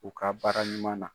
U ka baara ɲuman na.